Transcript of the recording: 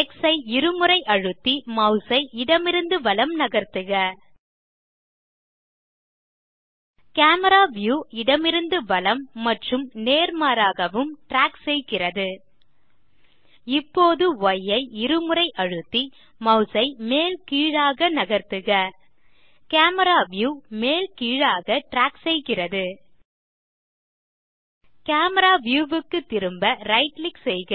X ஐ இருமுறை அழுத்தி மாஸ் ஐ இடமிருந்து வலம் நகர்த்துக கேமரா வியூ இடமிருந்து வலம் மற்றும் நேர்மாறாகவும் ட்ராக் செய்கிறது இப்போது ய் ஐ இருமுறை அழுத்தி மாஸ் மேல் கீழாக நகர்த்துக கேமரா வியூ மேல் கீழாக ட்ராக் செய்கிறது கேமரா வியூ க்கு திரும்ப ரைட் கிளிக் செய்க